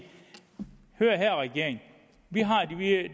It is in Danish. hør engang regering vi har